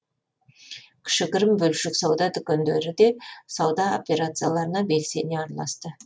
кішігірім бөлшек сауда дүкендері де сауда операцияларына белсене араласты